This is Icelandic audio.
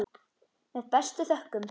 Með bestu þökkum.